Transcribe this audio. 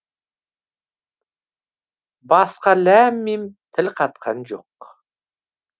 басқа ләм мим тіл қатқан жоқ